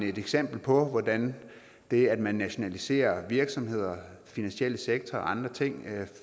et eksempel på hvordan det at man nationaliserer virksomheder finansielle sektor og andre ting